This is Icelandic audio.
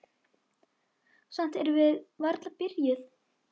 Samt erum við varla byrjuð.